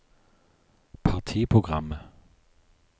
partiprogrammet